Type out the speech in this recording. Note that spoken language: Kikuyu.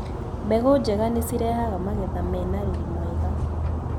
Mbegũ njega nĩcirehaga magetha mena riri mwega.